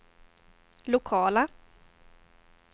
lokala